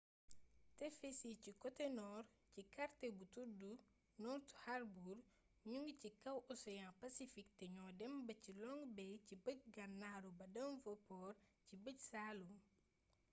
tefes yi ci côte-nord ci quartier bu tuddu north harbour ñu ngi ci kaw océan pacifique te ñoo dem ba ci long bay ci bëj gànnaaru ba devonport ci bëj saalum